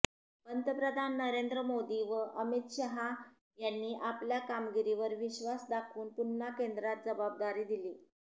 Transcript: पंतप्रधान नरेंद्र मोदी व अमित शहा यांनी आपल्या कामगिरीवर विश्वास दाखवून पुन्हा केंद्रात जबाबदारी दिली